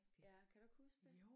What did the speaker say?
Ja kan du ikke huske det?